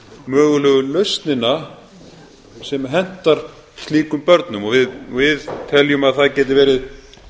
mögulegu lausnina sem hentar slíkum börnum og við teljum að það geti verið